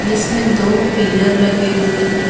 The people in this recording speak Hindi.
जिसमें दो पिलर लगे हुए हैं।